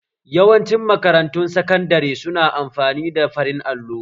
Yawanci makarantun sakandare su na amfani da farin allo